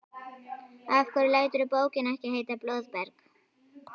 Af hverju læturðu bókina ekki heita Blóðberg?